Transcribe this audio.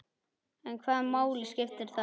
En hvaða máli skiptir það?